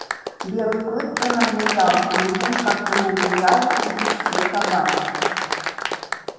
белый клык принадлежал людям как принадлежали им все собаки